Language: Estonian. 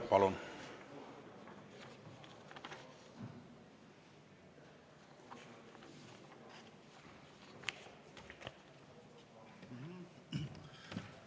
Palun!